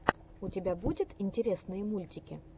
у тебя будет интересные мультики